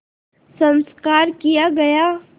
संस्कार किया गया